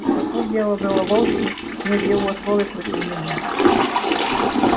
но тут дело было вовсе не в его слове против меня